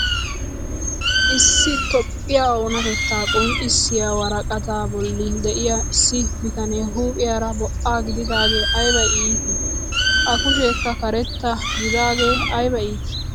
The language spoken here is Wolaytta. Issi itoophphiyaa oonatettaa qonccisiyaa woraqataa bolli de'iyaa issi bitanee huuphphiyaara bo'a gididagee ayba itii! a kusheekka karetta gidaagee ayba iitii!